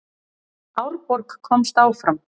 Árborg komst áfram